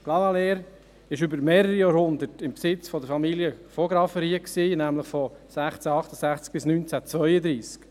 Clavaleyres war über mehrere Jahrhunderte im Besitz der Familie von Graffenried, nämlich von 1668 bis 1932.